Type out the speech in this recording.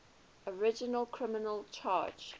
original criminal charge